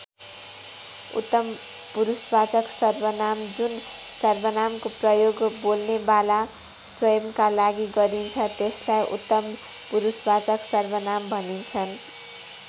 उत्तम पुरुषवाचक सर्वनाम जुन सर्वनामको प्रयोग बोल्नेवाला स्वयम्‌का लागि गरिन्छ त्यसलाई उत्तम पुरुषवाचक सर्वनाम भनिन्छन्।